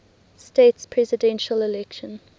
states presidential election